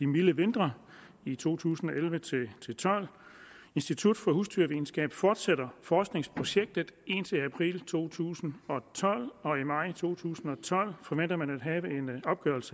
milde vinter i to tusind og elleve til tolv institut for husdyrvidenskab fortsætter forskningsprojektet indtil april to tusind og tolv og i maj to tusind og tolv forventer man